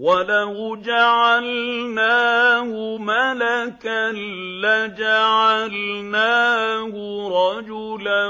وَلَوْ جَعَلْنَاهُ مَلَكًا لَّجَعَلْنَاهُ رَجُلًا